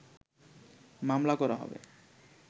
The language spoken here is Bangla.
মামলা করা হবে